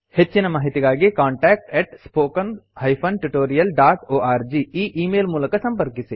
ಹೆಚ್ಚಿನ ಮಾಹಿತಿಗಾಗಿ contactspoken tutorialorg ಈ ಈ ಮೇಲ್ ಮೂಲಕ ಸಂಪರ್ಕಿಸಿ